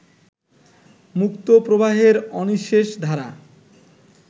মুক্তপ্রবাহের অনিঃশেষ ধারা